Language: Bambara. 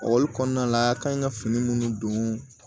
kɔnɔna la a kan ɲi ka fini minnu don